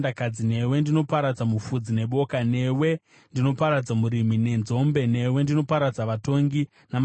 newe ndinoparadza mufudzi neboka, newe ndinoparadza murimi nenzombe, newe ndinoparadza vatongi namachinda.